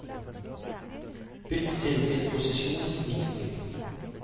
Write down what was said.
Bytt til disposisjonsvisning